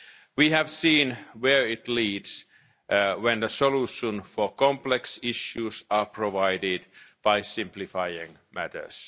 We have seen where it leads to when the solutions for complex issues are provided by simplifying matters.